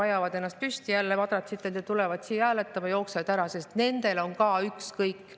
Ajavad ennast jälle madratsitelt püsti ja tulevad siia hääletama, siis jooksevad ära, sest nendel on ükskõik.